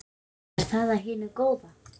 Er það af hinu góða?